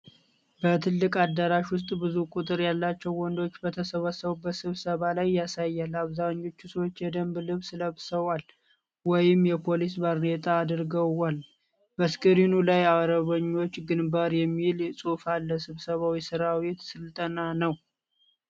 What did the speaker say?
በትልቅ አዳራሽ ውስጥ ብዙ ቁጥር ያላቸው ወንዶች በተሰበሰቡበት ስብሰባ ላይ ያሳያል። አብዛኞቹ ሰዎች የደንብ ልብስ ለብሰዋል ወይም የፖሊስ ባርኔጣ አድርገዋል። በስክሪኑ ላይ "አርበኞች ግንባር" የሚል ጽሑፍ አለ። ስብሰባው የሰራዊት ስልጠና ነው?